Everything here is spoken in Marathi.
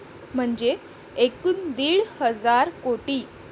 म्हणजे एकूण दीड हजार कोटी.